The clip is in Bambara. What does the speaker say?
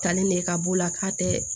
Talen ne ka b'o la k'a tɛ